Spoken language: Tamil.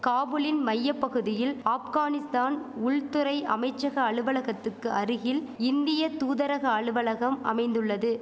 காபுலின் மைய பகுதியில் ஆப்கானிஸ்தான் உள்துறை அமைச்சக அலுவலகத்துக்கு அருகில் இந்திய தூதரக அலுவலகம் அமைந்துள்ளது